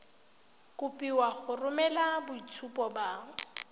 kopiwa go romela boitshupo ba